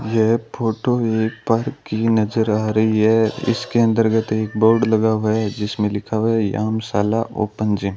यह फोटो एक पार्क की नजर आ रही है इसके अंतर्गत एक बोर्ड लगा हुआ है जिसमें लिखा हुआ है व्यामशाला ओपन जिम ।